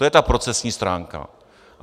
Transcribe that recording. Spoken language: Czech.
To je ta procesní stránka.